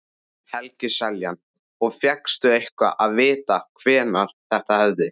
Helgi Seljan: Og fékkstu eitthvað að vita hvenær þetta hefði?